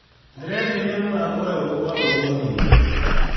Ndĩreciria mũthako ũyũ ũgũkorwo mũhiũ.